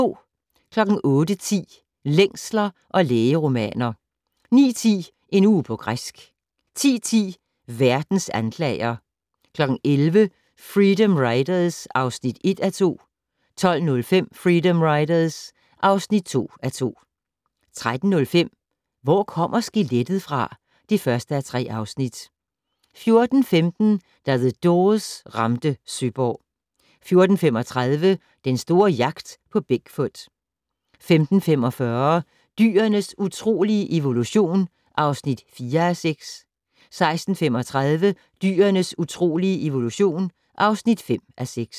08:10: Længsler og lægeromaner 09:10: En uge på græsk 10:10: Verdens anklager 11:00: Freedom Riders (1:2) 12:05: Freedom Riders (2:2) 13:05: Hvor kommer skelettet fra? (1:3) 14:15: Da The Doors ramte Søborg 14:35: Den store jagt på Big Foot 15:45: Dyrenes utrolige evolution (4:6) 16:35: Dyrenes utrolige evolution (5:6)